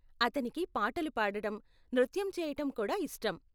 అతనికి పాటలు పాడడం, నృత్యం చేయటం కూడా ఇష్టం.